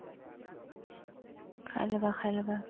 খাই ল'বা খাই ল'বা